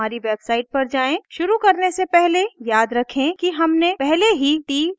शुरू करने से पहले याद रखें कि हमने पहले ही ttt डिरेक्टरी बनायीं थी